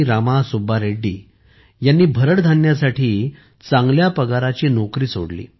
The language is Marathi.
रामा सुब्बा रेड्डी यांनी भरड धान्यासाठी चांगल्या पगाराची नोकरी सोडली